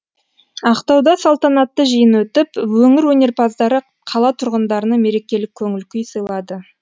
ақтауда салтанатты жиын өтіп өңір өнерпаздары қала тұрғындарына мерекелік көңіл күй сыйлады